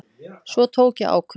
Svo tók ég ákvörðun.